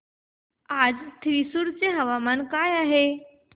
आज थ्रिसुर चे हवामान काय आहे